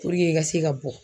i ka se ka bɔ